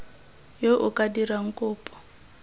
yo o ka dirang kopo